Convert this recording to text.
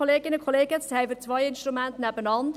Jetzt haben wir zwei Instrumente nebeneinander: